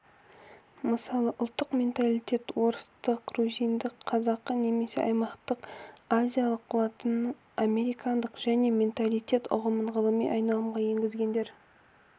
мысалы ұлттық менталитет орыстық грузиндік қазақы немесе аймақтық азиялық латына-мерикандық және менталитет ұғымын ғылыми айналымға енгізгендер